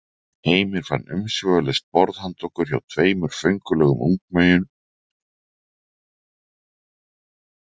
Heimir fann umsvifalaust borð handa okkur hjá tveimur föngulegum ungmeyjum sem þeir félagar voru málkunnugir.